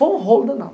Foi um rolo danado.